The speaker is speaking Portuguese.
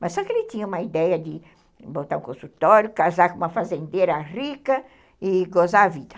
Mas só que ele tinha uma ideia de botar um consultório, casar com uma fazendeira rica e gozar a vida.